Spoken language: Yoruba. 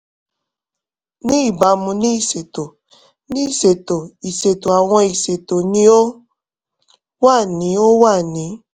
ni ibamu ni iṣeto ni iṣeto iṣeto awọn iṣeto ni o wa ni o wa ni